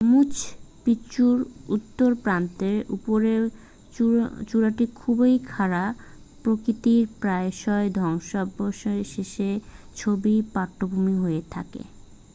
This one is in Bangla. মাচু পিচ্চুর উত্তর প্রান্তের উপরের চূড়াটি খুবই খাড়া প্রকৃতির প্রায়শই ধ্বংসাবশেষের ছবির পটভূমি হয়ে থাকে